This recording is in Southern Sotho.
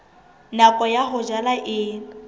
nako ya ho jala e